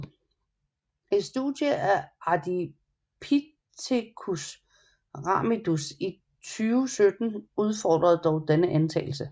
Et studie af Ardipithecus ramidus i 2017 udfordrer dog denne antagelse